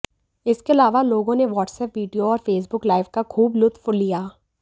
इसके अलावा लोगों ने व्हाट्सएप वीडियो और फेसबुक लाइव का खूब लुत्फ लिया